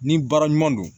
Ni baara ɲuman don